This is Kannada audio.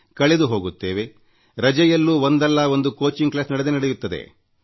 ಕಳೆದು ಹೋಗುತ್ತೇವೆ ರಜೆಯಲ್ಲೂ ಒಂದಲ್ಲ ಒಂದು ಕೋಚಿಂಗ್ ಕ್ಲಾಸ್ ನಡೆದೇ ಇರುತ್ತದೆ